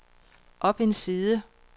op en side